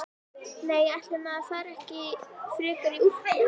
Nei, ætli maður fari ekki frekar í úlpu.